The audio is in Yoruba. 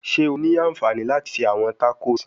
Ṣe o ni anfani lati ṣe awọn tacos?